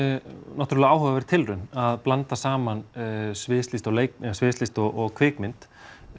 náttúrulega áhugaverð tilraun að blanda saman sviðslist og kvikmynd